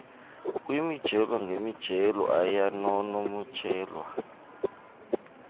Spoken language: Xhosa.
kwimijelo ngemijelo ayanonotshelwa